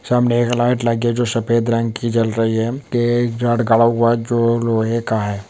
सामने एक लाइट लगी है जो सफेद रंग की जल रही है की रॉड हुआ जो लोहे का है सामने--